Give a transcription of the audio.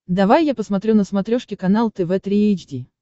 давай я посмотрю на смотрешке канал тв три эйч ди